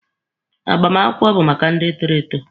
Agbamakwụkwọ bụ maka ndị toro eto.